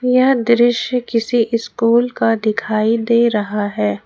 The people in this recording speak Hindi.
यह दृश्य किसी स्कूल का दिखाई दे रहा है।